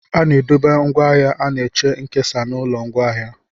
A na-edobe ngwaahịa na-eche nkesa n'ụlọ ngwaahịa.